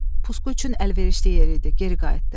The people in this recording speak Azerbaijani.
Pusqu üçün əlverişli yer idi, geri qayıtdı.